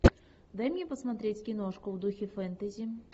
дай мне посмотреть киношку в духе фэнтези